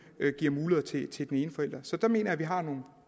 giver muligheder til til den ene forælder så der mener jeg vi har nogle